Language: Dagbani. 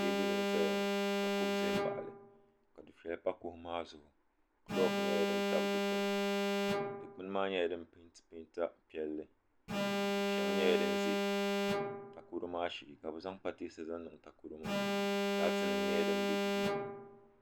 Teebuli n-zaya ka kuɣu za m-baɣi li ka dufɛya pa kuɣu maa zuɣu kulooki nyɛla din tabi dukpuni dukpuni maa nyɛla din peenti peenta piɛlli kuɣu shɛŋa nyɛla din ʒe takoro maa shee ka bɛ zaŋ pateesa zaŋ niŋ takoro maa laatinima nyɛla din be duu maa ni.